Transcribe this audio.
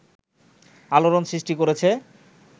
আলোড়ন সৃষ্টি করেছে